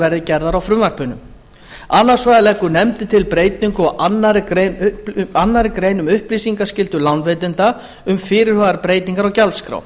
verði gerðar á frumvarpinu annars vegar leggur nefndin til breytingu á annarri grein um upplýsingaskyldu lánveitanda um fyrirhugaðar breytingar á gjaldskrá